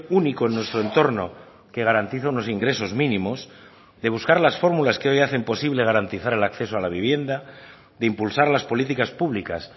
único en nuestro entorno que garantiza unos ingresos mínimos de buscar las fórmulas que hoy hacen posible garantizar el acceso a la vivienda de impulsar las políticas públicas